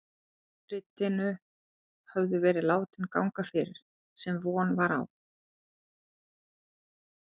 Handritin höfðu verið látin ganga fyrir, sem von var.